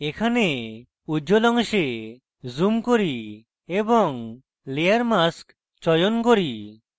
এখানে উজ্জ্বল অংশে zoom করি এবং layer mask চয়ন করি